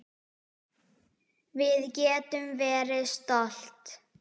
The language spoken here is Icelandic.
Við getum verið stolt.